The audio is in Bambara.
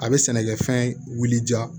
A bɛ sɛnɛkɛfɛn wuliya